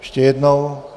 Ještě jednou...